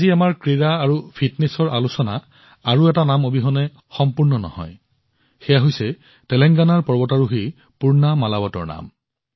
আজি আমাৰ ক্ৰীড়া আৰু ফিটনেছৰ আলোচনা আন এটা নাম অবিহনে সম্পূৰ্ণ কৰিব নোৱাৰি এয়া হৈছে তেলেংগানাৰ পৰ্বতাৰোহী পূৰ্ণা মালাৱতৰ নাম